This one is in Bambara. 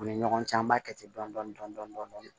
U ni ɲɔgɔn cɛ an b'a kɛ ten dɔni dɔni dɔni dɔni